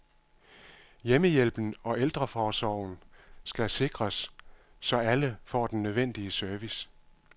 Hjemmehjælpen og ældreomsorgen skal sikres, så alle får den nødvendige service.